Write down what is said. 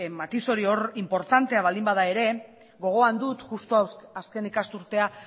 matiz hori hor inportantea baldin bada ere gogoan dut justu azken ikasturtea